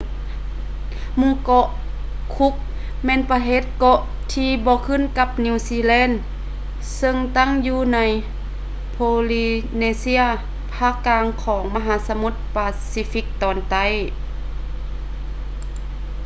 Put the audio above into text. ໝູ່ເກາະ cook ແມ່ນປະເທດເກາະທີ່ບໍ່ຂຶ້ນກັບນິວຊີແລນ ເຊິ່ງຕັ້ງຢູ່ໃນ polynesia ພາກກາງຂອງມະຫາສະໝຸດປາຊີຟິກຕອນໃຕ້